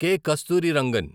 K. Kasturirangan